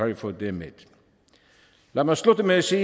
i fået det med lad mig slutte med at sige